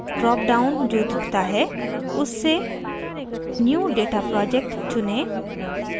dropdown जो दिखता है उससे new data project चुनें